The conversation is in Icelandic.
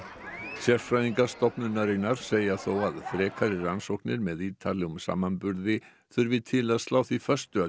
sérfræðingar stofnunarinnar segja þó að frekari rannsóknir með ítarlegum samanburði þurfi til að slá því föstu að